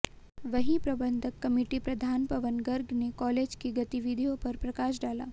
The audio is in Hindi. वहीं प्रबंधक कमेटी प्रधान पवन गर्ग ने कॉलेज की गतिविधियों पर प्रकाश डाला